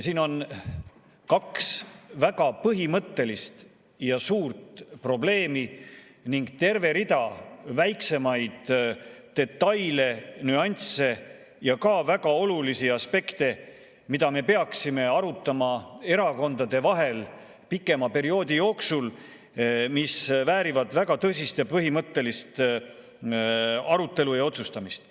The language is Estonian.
Siin on kaks väga põhimõttelist ja suurt probleemi ning terve rida väiksemaid detaile, nüansse ja ka väga olulisi aspekte, mida me peaksime arutama erakondade vahel pikema perioodi jooksul, kuna need väärivad väga tõsist ja põhimõttelist arutelu ja otsustamist.